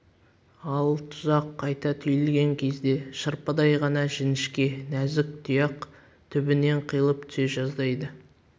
ал тұзақ қайта түйілген кезде шырпыдай ғана жіңішке нәзік тұяқ түбінен қиылып түсе жаздайды